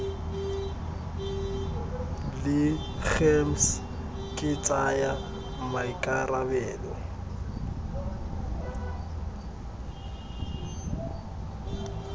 la gems ke tsaya maikarabelo